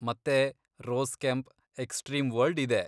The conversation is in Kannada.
ಮತ್ತೆ, ರೋಸ್ ಕೆಂಪ್, ಎಕ್ಸ್ಟ್ರೀಮ್ ವರ್ಲ್ಡ್ ಇದೆ.